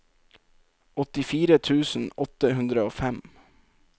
åttifire tusen åtte hundre og fem